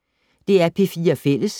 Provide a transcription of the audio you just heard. DR P4 Fælles